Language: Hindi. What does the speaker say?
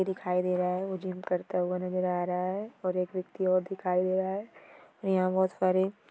दिखाई दे रहा है। वो जिम करता हुआ नजर आ रहा है और एक व्यक्ति और दिखाई दे रहा है और यहाँ बहुत सारे--